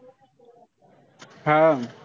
हा.